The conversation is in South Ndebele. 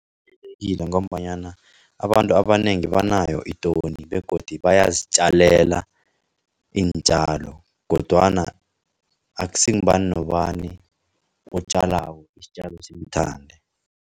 Ngombanyana abantu abanengi banayo itoni begodu bayazitjalela iintjalo kodwana akusingubani nobani otjalako isitjalo simthande.